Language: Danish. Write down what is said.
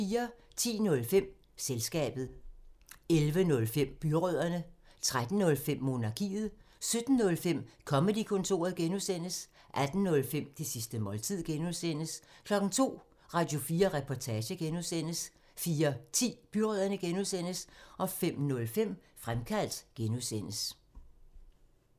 10:05: Selskabet 11:05: Byrødderne 13:05: Monarkiet 17:05: Comedy-kontoret (G) 18:05: Det sidste måltid (G) 02:00: Radio4 Reportage (G) 04:10: Byrødderne (G) 05:05: Fremkaldt (G)